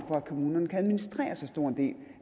for at kommunerne kan administrere så stor en del